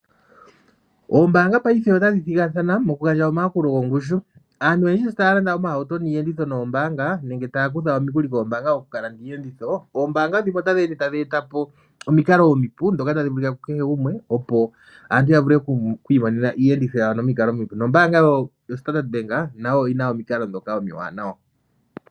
Ombaanga paife otadhi ningi omathigathano ,moku gandja omayakulo gongushu. Aantu oyendji sho taya landa iiyenditho, noombanga nenge taya kutha omikuli koombaanga ,ya kalande iiyenditho oombaanga dhimwe otadhinde tadhi